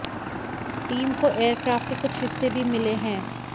team को aircraft के कुछ हिस्से भी मिले हैं